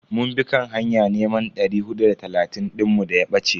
Mun bi kan hanya neman dari hudu da talatin dinmu daya bace.